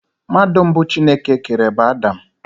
Mmadụ mbụ Chineke kere bụ Adam.